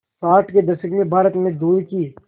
साठ के दशक में भारत में दूध की